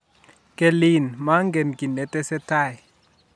kelin magen kiy netesetai